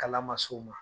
Kala ma s'o ma